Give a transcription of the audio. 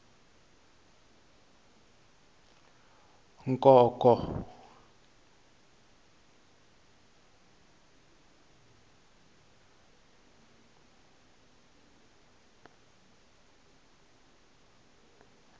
nkonko